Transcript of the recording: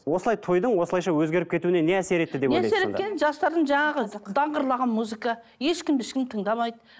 осылай тойдың осылайша өзгеріп кетуіне не әсер етті не әсер еткені жастардың жаңағы даңғырлаған музыка ешкімді ешкім тыңдамайды